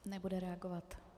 Nebude reagovat.